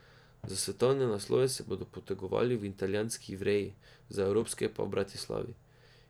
Za svetovne naslove se bodo potegovali v italijanski Ivreji, za evropske pa v Bratislavi.